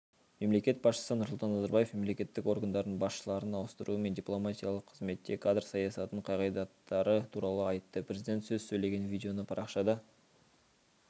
мемлекет басшысы нұрсұлтан назарбаев мемлекеттік органдардың басшыларын ауыстыру мен дипломатиялық қызметте кадр саясатының қағидаттары туралы айтты президент сөз сөйлеген видеоны парақшада